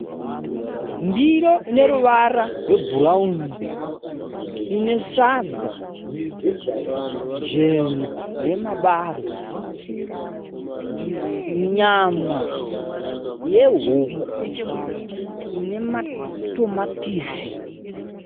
Ndiro ine ruvara rwebhurauni ine sadza jena remabarwe. Nyama yehuku ine matomatisi.